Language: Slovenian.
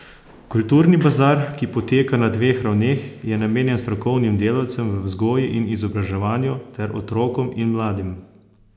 Kulturni bazar, ki poteka na dveh ravneh, je namenjen strokovnim delavcem v vzgoji in izobraževanju ter otrokom in mladim.